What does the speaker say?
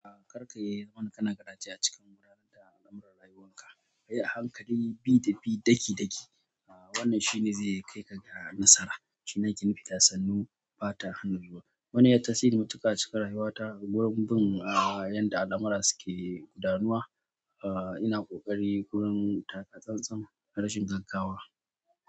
Ah kar kayi garaje acikin lamarin rayuwanka ka yi a hankali bi da bi daki-daki. A wannan shine zai kai ka ga nasara. Shi ake nufi da sannu bata hana, wannan yayi tasiri mutuka a cikin rayuwata abubuwan yanda al'amura suke guda nuwa a ina ƙoƙari wurin taka tsantsam, darashin gaggawa.